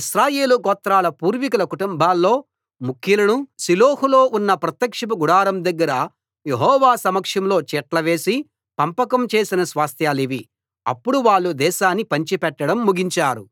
ఇశ్రాయేలు గోత్రాల పూర్వీకుల కుటుంబాల్లో ముఖ్యులను షిలోహులో ఉన్న ప్రత్యక్షపు గుడారం దగ్గర యెహోవా సమక్షంలో చీట్ల వేసి పంపకం చేసిన స్వాస్థ్యాలివి అప్పుడు వాళ్ళు దేశాన్ని పంచిపెట్టడం ముగించారు